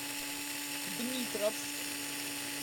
дмитровск